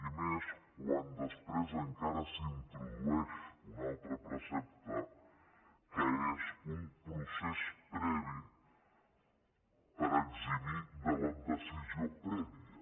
i més quan després encara s’introdueix un altre precepte que és un procés previ per eximir de la decisió prèvia